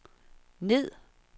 ned